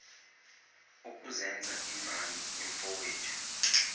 ukuzenza imbangi yomfowethu